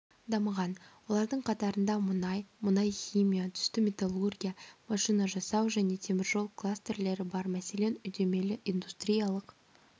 дамыған олардың қатарында мұнай мұнай-химия түсті металлургия машина жасау және теміржол калстерлері бар мәселен үдемелі-индустриялық